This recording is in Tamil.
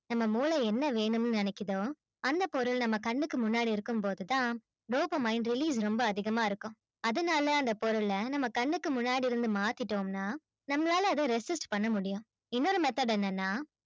நம்ம மூளை என்ன வேணும்ன்னு நினைக்குதோ அந்தப் பொருள் நம்ம கண்ணுக்கு முன்னாடி இருக்கும் போதுதான் dopamine release ரொம்ப அதிகமா இருக்கும் அதனால அந்தப் பொருள நம்ம கண்ணுக்கு முன்னாடி இருந்து மாத்திட்டோம்ன்னா நம்மளால அதை resist பண்ண முடியும் இன்னொரு method என்னன்னா